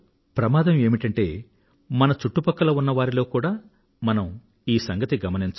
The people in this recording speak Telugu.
ప్రమాదం ఏమిటంటే మన చుట్టుపక్కల ఉన్న వారిలో కూడా మనం ఈ సంగతి గమనించం